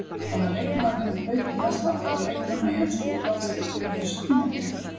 Hvaða leikmaður hefur hlaupið mest allra leikmanna í ensku úrvalsdeildinni á þessu tímabili?